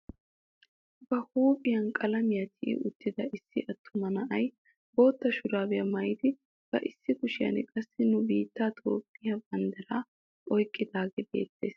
Ba huuphphiyaa qalamiyaan tiyi uttida issi attuma na'ay bootta shuraabiyaa maayidi ba issi kushiyaan qassi nu biittee itoophphee banddiraa oyqqidagee beettees.